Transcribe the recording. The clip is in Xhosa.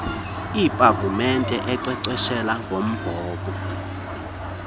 iipavumente enkcenkceshela ngombhobho